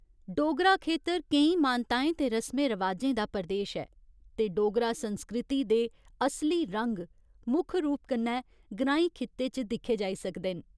डोगरा खेतर केईं मानताएं ते रसमें रवाजें दा प्रदेश ऐ ते डोगरा संस्कृति दे असली रंग मुक्ख रूप कन्नै ग्रांईं खित्ते च दिक्खे जाई सकदे न।